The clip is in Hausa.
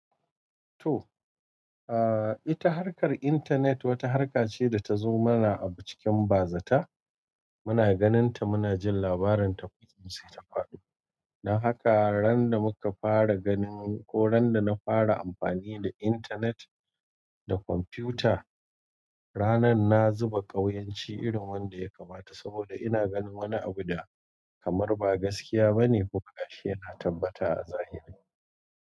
To, ita harkar intanet wata harka ce da ta zo mana a acikin bazata. Muna ganin ta muna jin labarin ta ko in sai ta faɗo. Dan haka ran da muka fara ganin ko ran da na fara amfani da intanet da kwamfuta, ranar na zuba ƙauyanci irin wanda ya kamata saboda ina ganin wani abu da kamar ba gaskiya bane ko ashe na tabbata a zahiri.